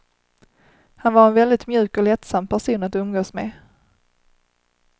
Han var en väldigt mjuk och lättsam person att umgås med.